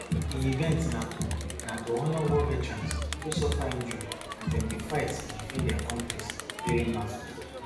di event na to na to honour war veterans wey suffer injury as dem dey fight to defend dia kontris during battles